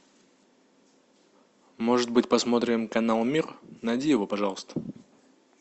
может быть посмотрим канал мир найди его пожалуйста